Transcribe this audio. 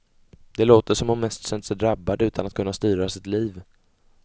Det låter som om hon mest känt sig drabbad utan att kunna styra sitt liv.